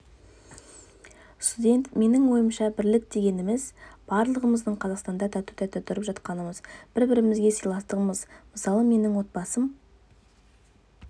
студент менің ойымша бірлік дегеніміз барлығымыздың қазақстанда тату-тәтті тұрып жатқанымыз бір-бірімізге сыйластығымыз мысалы менің отбасым